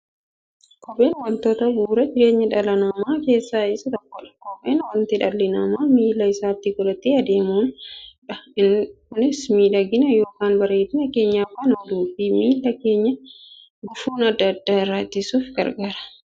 Kopheen wantoota bu'uura jireenya dhala namaa keessaa isa tokkodha. Kopheen wanta dhalli namaa miilla isaatti godhatee deemudha. Kunis miidhagani yookiin bareedina keenyaf kan ooluufi miilla keenya gufuu adda addaa irraa ittisuuf gargaara.